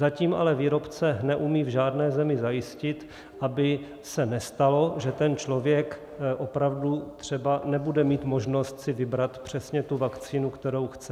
Zatím ale výrobce neumí v žádné zemi zajistit, aby se nestalo, že ten člověk opravdu třeba nebude mít možnost si vybrat přesně tu vakcínu, kterou chce.